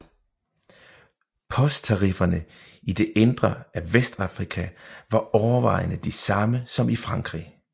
Posttarifferne i det indre af Vestafrika var overvejende de samme som i Frankrig